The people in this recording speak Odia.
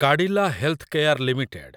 Cadila healthcare limited